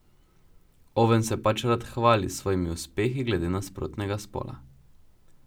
Oven se pač rad hvali s svojimi uspehi glede nasprotnega spola.